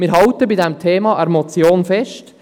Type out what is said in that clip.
Wir halten bei diesem Thema an der Motion fest.